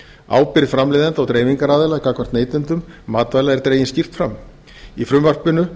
ábyrgð framleiðenda og dreifingaraðila gagnvart neytendum matvæla er dregin skýrt fram í frumvarpinu